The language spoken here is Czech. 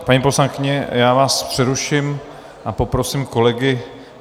Paní poslankyně, já vás přeruším a poprosím kolegy...